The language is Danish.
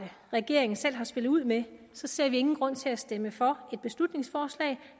regeringen selv har spillet ud med ser vi ingen grund til at stemme for et beslutningsforslag